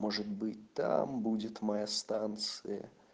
может быть там будет моя станция